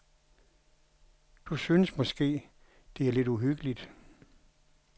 Du synes måske, det er lidt uhyggeligt.